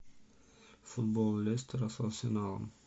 футбол лестера с арсеналом